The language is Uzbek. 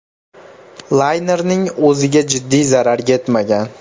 Laynerning o‘ziga jiddiy zarar yetmagan.